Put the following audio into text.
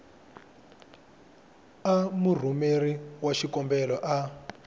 a murhumeri wa xikombelo a